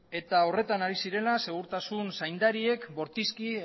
eta horretan ari zirela segurtasun zaindariek bortizki